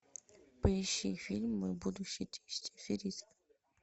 поищи фильм мой будущий тесть аферист